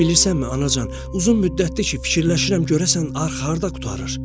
Bilirsənmi, Anacan, uzun müddətdir ki, fikirləşirəm görəsən arx harda qurtarır?